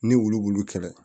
Ni wulu b'olu kɛlɛ